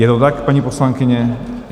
Je to tak, paní poslankyně?